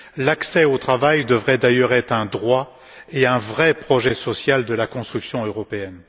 L'accès au travail devrait d'ailleurs être un droit et un vrai projet social de la construction européenne.